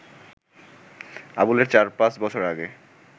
আবুলের চার-পাঁচ বছর আগে